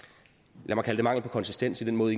lad mig kalde det mangel på konsistens i den måde